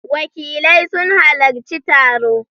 Wakilai suna halarci taro